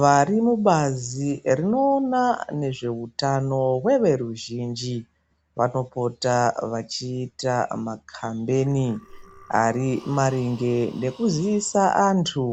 Varimubazi rinoona nezveutano zveveruzhinji vanopota vachiita makhambeni ari maringe nekuziisa antu